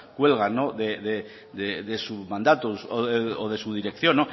cuelgan de su mandato o de su dirección